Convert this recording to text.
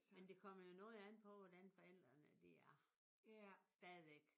Men det kommer jo noget an på hvordan forældrene de er. Stadigvæk